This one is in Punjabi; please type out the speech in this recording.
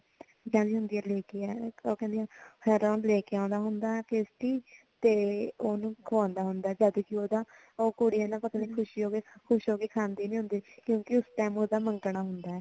ਉਹ ਕਹਿੰਦੀ ਹੁੰਦੀ ਆ ਲੈ ਕੇ ਇੱਕ ਫ਼ਿਰ ਉਹ ਲੈ ਕੇ ਆਉਂਦਾ ਹੁੰਦਾ ਪੇਸਟੀ ਤੇ ਉਹਨੂੰ ਖਵਾਉਂਦਾ ਹੁੰਦਾ ਜਦ ਕਿ ਉਹਦਾ ਕੁੜੀ ਖੁਸ਼ੀ ਖੁਸ਼ ਹੋ ਕੇ ਖਾਦੀ ਨੀ ਹੁੰਦੀ ਕਿਉਂਕਿ ਉਸ time ਉਸਦਾ ਮੰਗਣਾ ਹੁੰਦਾ